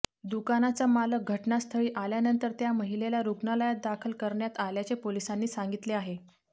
दुकानाचा मालक घटनास्थळी आल्यानंतर त्या महिलेला रुग्णालयात दाखल करण्यात आल्याचे पोलिसांनी सांगितले आहे